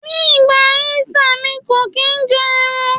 Ní ìgbà Ísítà, mi kò kín ń jẹ́ ẹran.